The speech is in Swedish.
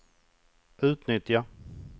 utnyttja